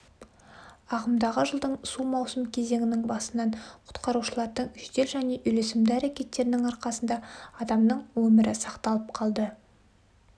ағымдағы жылдың су мауысым кезеңінің басынан құтқарушылардың жедел және үйлесімді әрекеттерінің арқасында адамның өмірі сақталып қалды